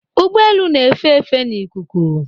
Ụgbọ elu na-efe efe n'ikuku